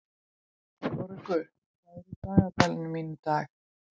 Kórekur, hvað er á dagatalinu mínu í dag?